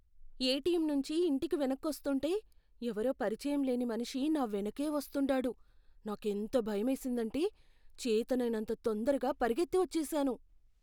ATM నుంచి ఇంటికి వెనక్కొస్తుంటే ఎవరో పరిచయంలేని మనిషి నా వెనకే వస్తుండాడు. నాకెంత భయమేసిందంటే చేతనైనంత తొందరగా పరిగెత్తి వచ్చేసాను.